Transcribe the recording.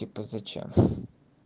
типо зачем